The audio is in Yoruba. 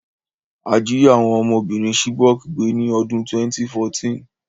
A jí àwon ọmọbìrin Chibok gbé ni odún 2014